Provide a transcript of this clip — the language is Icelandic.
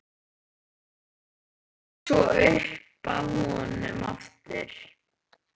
Leggst svo upp að honum aftur.